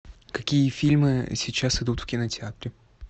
какие фильмы сейчас идут в кинотеатре